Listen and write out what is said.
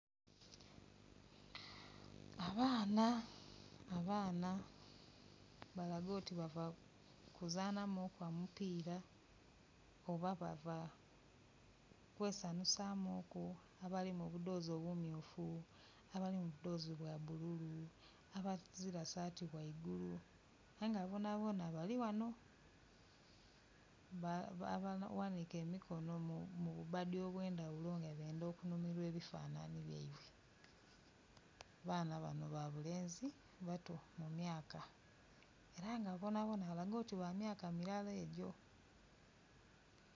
Abaana abaana balaga oti bava kuzanhamuku omupira oba bava kwesanhusamuku, abali mu budhozi obumyufu, abali mu budhozi bwa bululu, abazila sati ghaigulu ayenga bona bona bali ghano abaghanike emikono mu bubadhi obwendhagulo nga benda okunhumirwa ebifanani byeibwe. Abaana bano babulenzi bato mu myaka era nga bonabona balaga nti ba myaka milala egyo.